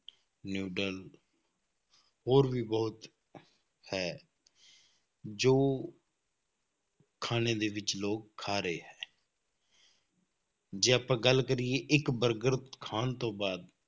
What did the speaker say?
noodle ਹੋਰ ਵੀ ਬਹੁਤ ਹੈ, ਜੋ ਖਾਣੇ ਦੇ ਵਿੱਚ ਲੋਕ ਖਾ ਰਹੇ ਹੈ ਜੇ ਆਪਾਂ ਗੱਲ ਕਰੀਏ ਇੱਕ ਬਰਗਰ ਖਾਣ ਤੋਂ ਬਾਅਦ